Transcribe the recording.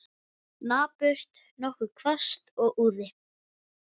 Napurt, nokkuð hvasst og úði.